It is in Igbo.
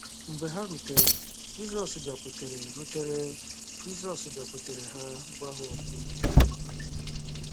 Mgbe ha rutere, “Jizọs bịakwutere rutere, “Jizọs bịakwutere ha gwa ha okwu .”